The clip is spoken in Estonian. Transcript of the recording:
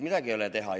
Midagi ei ole teha.